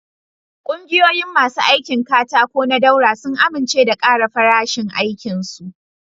Kungiyoyin masu aikin katako na Daura sun amince da ƙara farashin aikin su.